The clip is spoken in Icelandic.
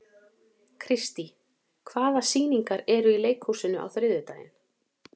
Kristý, hvaða sýningar eru í leikhúsinu á þriðjudaginn?